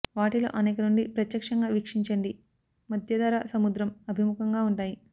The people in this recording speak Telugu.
వాటిలో అనేక నుండి ప్రత్యక్షంగా వీక్షించండి మధ్యధరా సముద్రం అభిముఖంగా ఉంటాయి